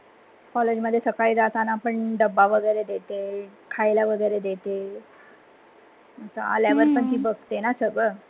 College मध्ये सकळी जातना पण डब्बा वगैरे देते, खायला वैगरे देते. आलयावर पण ती बघते ना सगळं.